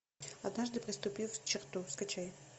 однажды переступив черту скачай